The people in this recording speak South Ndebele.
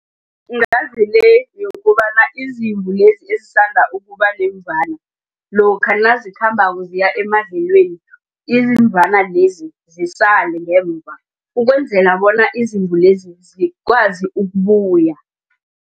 Ngazile le yokobana izimvu lezi ezisithanda ukubanemvana. Lokha nazikhambako ziya emadlelweni izimvana lezi zisale ngemva ukwenzela bona izimvu lezi zikwazi ukubuya.